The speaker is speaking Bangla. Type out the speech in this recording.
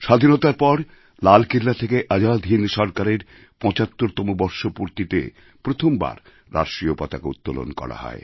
স্বাধীনতার পর লালকেল্লা থেকে আজাদ হিন্দ সরকারের ৭৫তম বর্ষপূর্তিতে প্রথমবার রাষ্ট্রীয় পতাকা উত্তোলন করা হয়